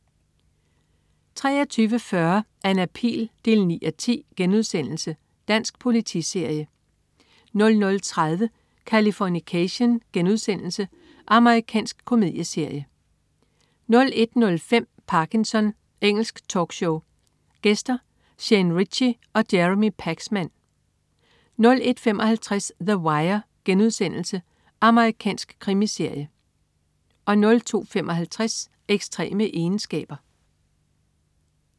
23.40 Anna Pihl 9:10* Dansk politiserie 00.30 Californication.* Amerikansk komedieserie 01.05 Parkinson. Engelsk talkshow. Gæster: Shane Richie og Jeremy Paxman 01.55 The Wire.* Amerikansk krimiserie 02.55 Ekstreme egenskaber